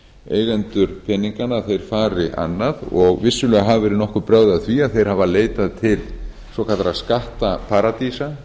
eigendur peninganna fari annað og vissulega hafa verið nokkur brögð að því að þeir hafi leitað til svokallaðra skattaparadísa